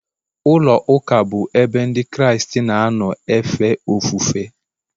ụlọụka bụ ebe Ndị Kraịst na-anọ efe ofufe.